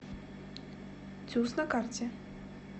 тюз на карте